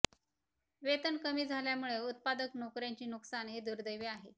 वेतन कमी झाल्यामुळे उत्पादक नोकऱ्यांचे नुकसान हे दुर्दैवी आहे